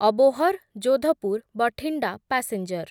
Abohar Jodhpur Bathinda passenger